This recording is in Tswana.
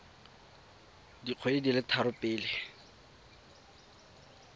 dikgwedi di le tharo pele